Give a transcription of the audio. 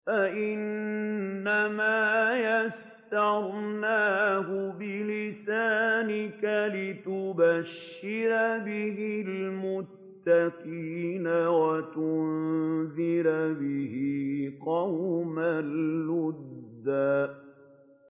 فَإِنَّمَا يَسَّرْنَاهُ بِلِسَانِكَ لِتُبَشِّرَ بِهِ الْمُتَّقِينَ وَتُنذِرَ بِهِ قَوْمًا لُّدًّا